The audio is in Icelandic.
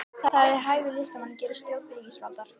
Það er ekki við hæfi að listamaður gerist þjónn ríkisvaldsins